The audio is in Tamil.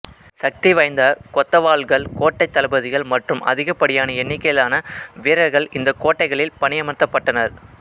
சக்தி வாய்ந்த கொத்தவால்கள் கோட்டை தளபதிகள் மற்றும் அதிகப்படியான எண்ணிக்கையிலான வீரர்கள் இந்த கோட்டைகளில் பணியமர்த்தப்பட்டனர்